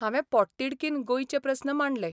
हांवे पोटतिडकीन गोंयचे प्रस्न मांडले.